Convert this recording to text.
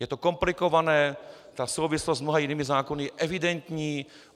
Je to komplikované, ta souvislost s mnoha jinými zákony je evidentní.